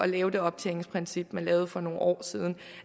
lave det optjeningsprincip man lavede for nogle år siden